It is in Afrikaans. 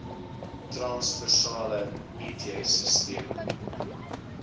transversale it sisteme